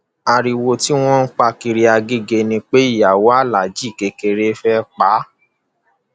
ariwo tí wọn ń pa kiri agege ni pé ìyàwó aláàjì kékeré fẹẹ pa á